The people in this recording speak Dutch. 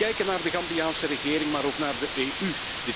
We kijken naar de Gambiaanse regering maar ook naar de EU.